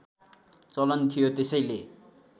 चलन थियो त्यसैले